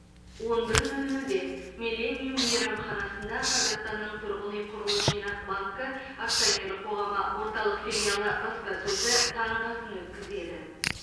он бір нөл нөлде миллениум мейрамханасында қазақстанның тұрғын үй құрылыс жинақ банкі акционерлік қоғамы орталық филиалы баспасөзі таңғы асын өткізеді